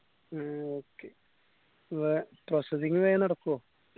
ആ okay വേ processing വെങ് നടക്കോ